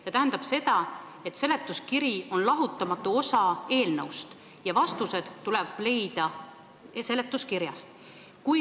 See tähendab seda, et seletuskiri on lahutamatu osa eelnõust ja vastused tuleb leida seletuskirjast.